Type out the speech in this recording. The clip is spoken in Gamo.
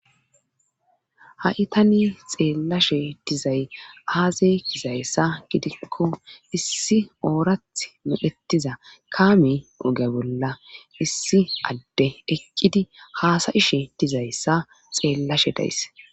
Ha7i tani xeellashe dizay aaze gizayssa gidikko issi oorath mu7ettiza kaami uge bolla issi adde eqqidi haasayishe dizayssa xeellashe days.